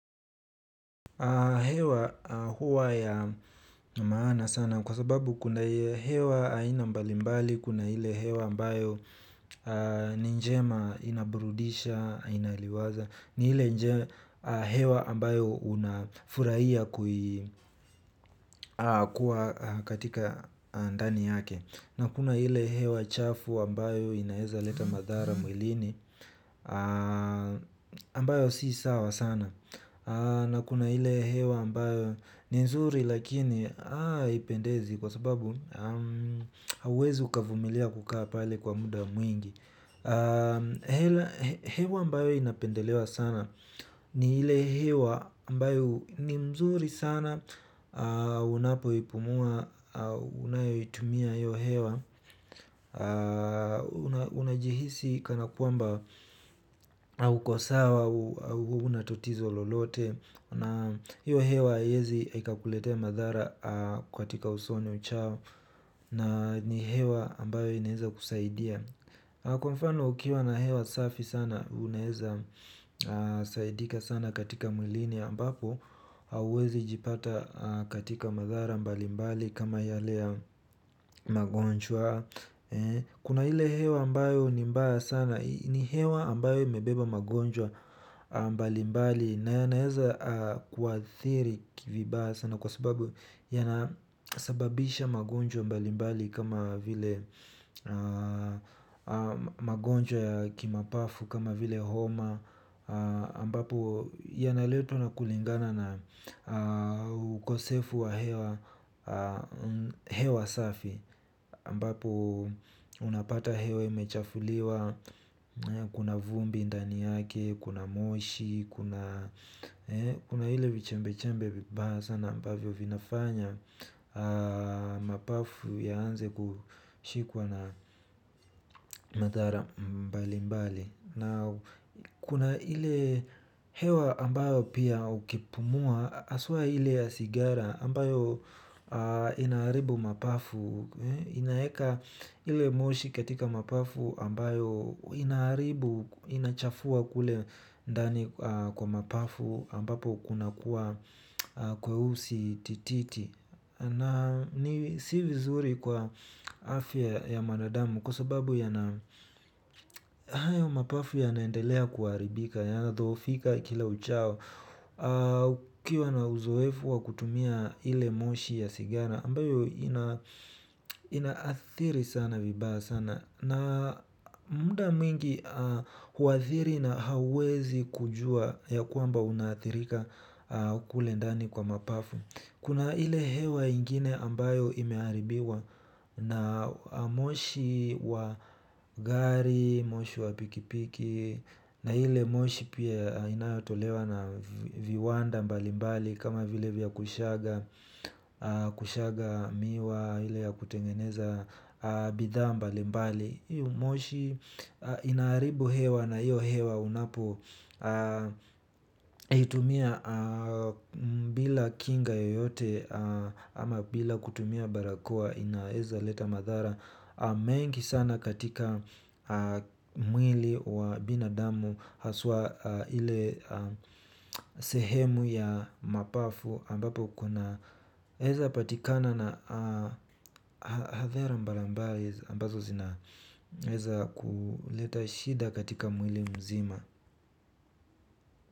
Hewa huwa ya maana sana kwa sababu kuna hewa aina mbalimbali, kuna ile hewa ambayo ni njema inabrudisha, inaliwaza, ni ile hewa ambayo unafurahia kuwa katika ndani yake. Na kuna ile hewa chafu ambayo inaezaleta madhara mwilini ambayo si sawa sana. Na kuna ile hewa ambayo ni mzuri lakini haipendezi. Kwa sababu hauwezi ukavumilia kukaa pale kwa muda mwingi. Hewa ambayo inapendelewa sana. Ni ile hewa ambayo ni mzuri sana unapoipumua unayoitumia hiyo hewa unajihisi kana kwamba uko sawa hauna totizo lolote na hiyo hewa haiwezi ikakuletea madhara katika usoni uchao na ni hewa ambayo inaeza kusaidia kwa mfano ukiwa na hewa safi sana unaeza saidika sana katika mwilini ambapo hauwezi jipata katika madhara mbalimbali kama yale ya magonjwa kuna ile hewa ambayo ni mbaya sana ni hewa ambayo imebeba magonjwa mbalimbali na yanaweza kuathiri vibaya sana kwa sababu yanasababisha magonjwa mbalimbali kama vile magonjwa ya kimapafu kama vile homa ambapo yanaletwa na kulingana na ukosefu wa hewa safi ambapo unapata hewa imechafuliwa. Kuna vumbi ndani yake, kuna moshi. Kuna ile vichembe-chembe vibaya sana ambavyo vinafanya mapafu yaanze kushikwa na madhara mbali-mbali. Na kuna ile hewa ambayo pia ukipumua haswa ile ya sigara ambayo inaaribu mapafu. Inaeka ile moshi katika mapafu ambayo inaaribu inachafua kule ndani kwa mapafu ambapo kunakuwa kweusi tititi. Na ni si vizuri kwa afya ya mwanadamu kwa sababu yana hayo mapafu yanaendelea kuharibika. Yanadhoofika kila uchao. Ukiwa na uzoefu wa kutumia ile moshi ya sigara ambayo inaathiri sana vibaya sana. Na muda mwingi huathiri na hauwezi kujua ya kwamba unaathirika kule ndani kwa mapafu. Kuna ile hewa ingine ambayo imeharibiwa na moshi wa gari, moshi wa pikipiki na ile moshi pia inayotolewa na viwanda mbalimbali kama vile vya kushaga miwa ile ya kutengeneza bidhaa mbalimbali hiyo moshi inaaribu hewa na uiyo hewa unapo itumia bila kinga yoyote ama bila kutumia barakoa inaeza leta madhara. Mengi sana katika mwili wa binadamu haswa ile sehemu ya mapafu ampapo kunaeza patikana na hadhara mbalamba ambazo zinaeza kuleta shida katika mwili mzima.